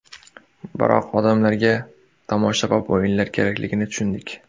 Biroq odamlarga tomoshabob o‘yinlar kerakligini tushundik.